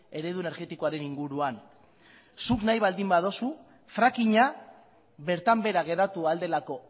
eredu energetikoaren inguruan zuk nahi baldin baduzu frackinga bertan behera geratu ahal delako